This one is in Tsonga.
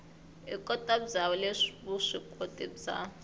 ikoti bya le vuswikoti bya